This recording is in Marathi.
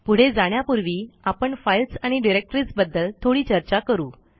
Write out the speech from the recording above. पुढे जाण्यापूर्वी आपण फाईल्स आणि डिरेक्टरीज बद्दल थोडी चर्चा करू